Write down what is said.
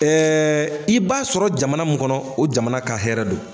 Ɛɛ i b'a sɔrɔ jamana min kɔnɔ o jamana ka hɛrɛ don